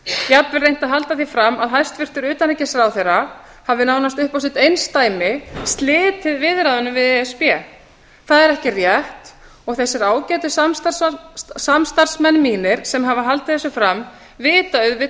jafnvel reynt að halda því fram að hæstvirtur utanríkisráðherra hafi nánast upp á sitt einsdæmi slitið viðræðunum við e s b það er ekki rétt og þeir ágætu samstarfsmenn mínir sem hafa haldið þessu fram vita auðvitað